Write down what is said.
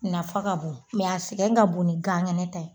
Nafa ka bon a sɛgɛn ka bon ni ganŋɛnɛ ta ye.